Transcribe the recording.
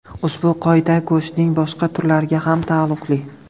Ushbu qoida go‘shtning boshqa turlariga ham taalluqli.